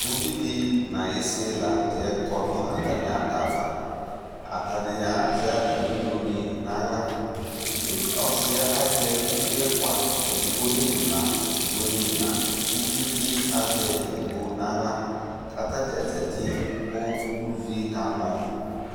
Ʊvidi ɲayisi la ɲʊtɛ kɔɲu atamiadava Ataɲi azɛ atamiɛ mloɲɩ ɲaɣla Ɔsiɛ azɛ evi ɛfua, edigbo imla edigbo ɲu ina Ʊviebɩ azɛ edigbo ɲaɣla' katadza zati kʊ ʊvie kamɔ